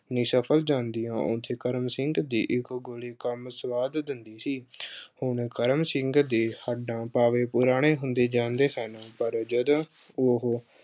ਨਿਸਫ਼ਲ ਜਾਂਦੀਆਂ ਉੱਥੇ ਕਰਮ ਸਿੰਘ ਦੀ ਇੱਕ ਗੋਲੀ ਕੰਮ ਸਵਾਰ ਦਿੰਦੀ ਸੀ ਅਹ ਹੁਣ ਕਰਮ ਸਿੰਘ ਦੇ ਹੱਡਾਂ-ਪਾਵੇ ਪੁਰਾਣੇ ਹੁੰਦੇ ਜਾਂਦੇ ਸਨ ਪਰ ਜਦੋਂ ਉਹੋ